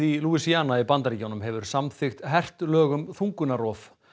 í Louisiana í Bandaríkjunum hefur samþykkt hert lög um þungunarrof